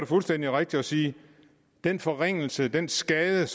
fuldstændig rigtigt at sige den forringelse den skade